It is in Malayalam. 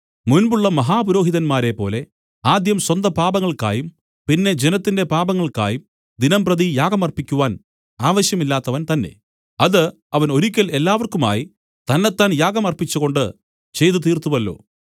മുൻപുള്ള മഹാപുരോഹിതന്മാരെപ്പോലെ ആദ്യം സ്വന്തപാപങ്ങൾക്കായും പിന്നെ ജനത്തിന്റെ പാപങ്ങൾക്കായും ദിനംപ്രതി യാഗം അർപ്പിക്കുവാൻ ആവശ്യമില്ലാത്തവൻതന്നെ അത് അവൻ ഒരിക്കൽ എല്ലാവർക്കുമായി തന്നെത്താൻ യാഗം അർപ്പിച്ചുകൊണ്ട് ചെയ്തുതീർത്തുവല്ലോ